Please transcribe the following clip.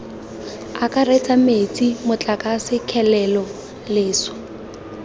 akaretsa metsi motlakase kgelelo leswe